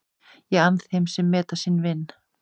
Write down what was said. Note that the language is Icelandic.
Ég ann þeim sem meta sinn vin.